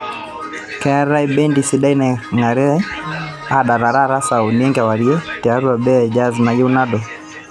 keetae bendi sidai nangirae aadala taata saa uni enkewarie tiatua baa e jaz nayieu nalo